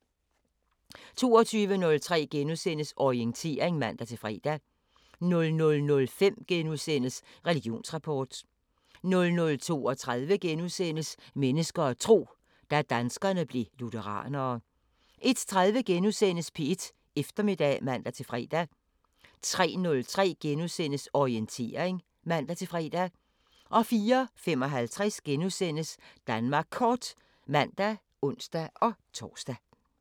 22:03: Orientering *(man-fre) 00:05: Religionsrapport * 00:32: Mennesker og tro: Da danskerne blev lutheranere * 01:03: P1 Eftermiddag *(man-fre) 03:03: Orientering *(man-fre) 04:55: Danmark Kort *(man og ons-tor)